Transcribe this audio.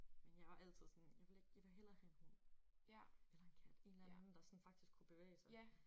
Men jeg var altid sådan jeg vil ikke jeg vil hellere have en hund eller en kat en eller anden der sådan faktisk kunne bevæge sig